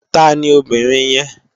Tàní óbìrín yèn?